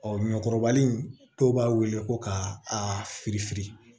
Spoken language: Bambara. ɲɔkɔrɔbali in dɔw b'a wele ko ka a firi fili